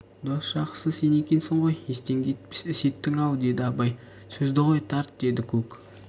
дос жақсысы сен екенсің ғой естен кетпес іс еттің-ау деді абай сөзді қой тарт деді көк